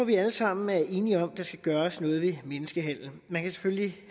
vi alle sammen er enige om at der skal gøres noget ved menneskehandel man kan selvfølgelig